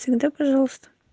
всегда пожалуйста